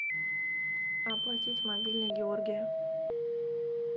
оплатить мобильный георгия